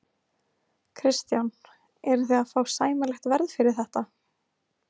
Kristján: Eruð þið að fá sæmilegt verð fyrir þetta?